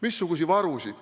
Missuguseid varusid?